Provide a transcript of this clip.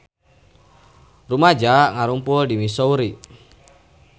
Rumaja ngarumpul di Missouri